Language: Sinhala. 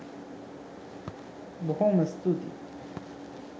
බොහොම ස්තූතියි.